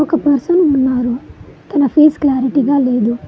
ఒక పర్సన్ ఉన్నారు తన ఫేస్ క్లారిటీగా లేదు.